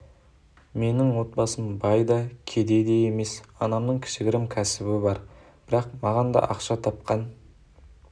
менің отбасым бай да кедей де емес анамның кішігірім кәсібі бар бірақ маған да ақша тапқан